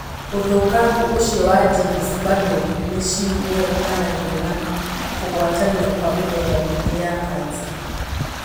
ũthũkangu ũcio wa genes bado niciguetanagio na kũguatania kwa mithemba meingi ya Cancer.